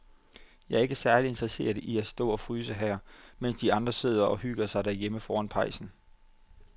Jeg er ikke særlig interesseret i at stå og fryse her, mens de andre sidder og hygger sig derhjemme foran pejsen.